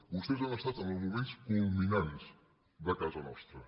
vostès han estat en els moments culminants de casa nostra